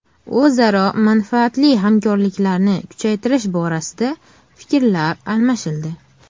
O‘zaro manfaatli hamkorliklarni kuchaytirish borasida fikrlar almashildi.